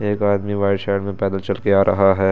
एक आदमी white shirt चलके आ रहा हे।